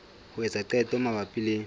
ho etsa qeto mabapi le